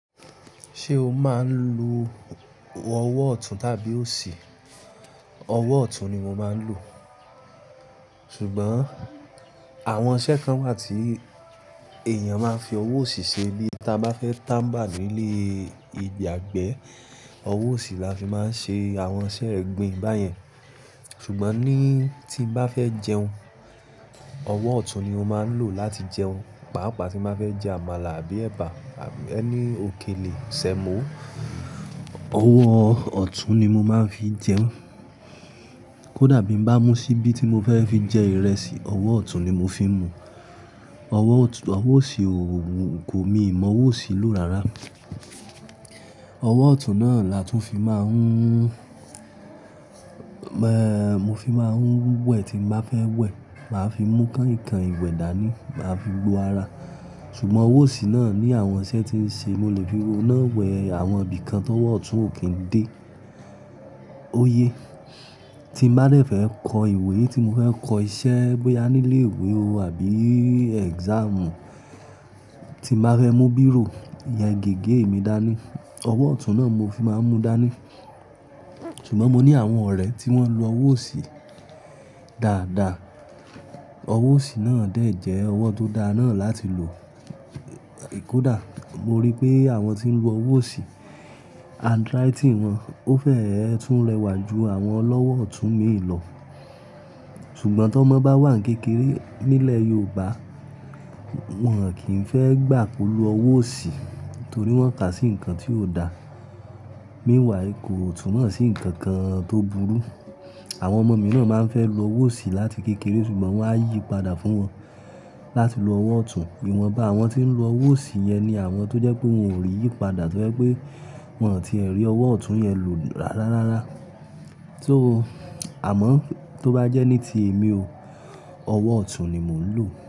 Ṣé o máa ń lo ọwọ́ ọ̀tún tàbí òsì? Ọwọ́ ọ̀tún ni mo máa ń lò. Sugbọn àwọn iṣẹ́ kan wà tí èèyàn máa ń fi ọwọ́ òsì ṣe. Tí a bá fẹ́ táńbà ìyàgbẹ́, ọwọ́ òsì la fi máa ń ṣe àwọn iṣẹ́ ẹ̀gbin báyẹn. Ṣùgbọ́n ní tí n bá fẹ́ jẹun, ọwọ́ ọ̀tún ni mo máa ń lò láti jẹun. Pàápàá tí n bá fẹ́ jẹ àmàlà àbí ẹ̀bà àbí any òkèlè, sẹ̀mọ́, ọwọ́ ọ̀tún ni mo máa ń fi jẹun. Kódà bí n bá mú ṣíbí tí mo fẹ́ fi jẹ ìrẹsì, ọwọ́ ọ̀tún ni mo fi ń mu. Ọwọ́ òsì ò wù mí, kò, miì mọ ọwọ́ òsì lò rárá. Ọwọ́ ọ̀tún náà la tún fi máa ń, mo fi máa ń wẹ̀ tí n bá fẹ́ wẹ̀. Máa fi mú kànìnkànìn ìwẹ̀ dání, màá fi gbo ara. Ṣùgbọ́n ọwọ́ òsì náà ní àwọn iṣẹ́ tí ń ṣe, mo lè fi òun náà wẹ àwọn ibìkan tọ́wọ́ ọ̀tún ò kí ń dé. Ó yé. Tí n bá dẹ̀ fẹ́ kọ ìwé, tí mo fẹ́ kọ iṣẹ́ bóyá nílé ìwé o àbí exam, tí n bá fẹ́ mú bírò, ìyẹn gègé mi dání, ọwọ́ ọ̀tún náà n mo fi máa ń mu dání. Ṣùgbọ́n mo ní àwọn ọ̀rẹ́ tí wọ́n ń lo ọwọ́ òsì dáadáa. Ọwọ́ òsì náà dẹ̀ jẹ́ ọwọ́ tó dáa náà láti lò. Kódà mo ri pé àwọn tí ń lo ọwọ́ òsì, handwriting wọn ó fẹ́ẹ́ tún rẹwà ju àwọn ọlọ́wọ́ ọ̀tún míì lọ. Ṣùgbọ́n t'ọ́mọ bá wà ní kékeré nílẹ̀ Yoòbá, wọ́n ò kí ń fẹ́ gbà kó lo ọwọ́ òsì torí wọ́n kà á sí nǹkan tí ò dáa. Meanwhile, kò túmọ̀ sì nǹkan kan tó burú. Àwọn ọmọ mi náà máa ń fẹ́ lo ọwọ́ òsì láti kékeré, ṣùgbọ́n wọ́n á yíi padà fún wọn láti lo ọwọ́ ọ̀tún. Ìwọ̀nba àwọn tí ń lo ọwọ́ òsì yẹn ni àwọn tó jẹ́ pé wọn ò rí yípadà tó jẹ́ pé wọn ò tiẹ̀ rí ọwọ́ ọ̀tún yẹn lò rárá rárá. So amọ́ tó bá jẹ́ ní ti èmi o, ọwọ́ ọ̀tún ni mò ń lò.